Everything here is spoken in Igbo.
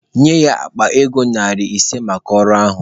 Nye ya akpa ego narị ise maka ọrụ ahụ.